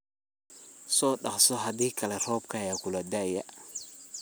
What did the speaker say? Sodoqso hadi kale roobka aya kulada'ay.